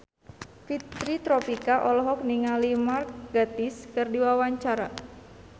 Fitri Tropika olohok ningali Mark Gatiss keur diwawancara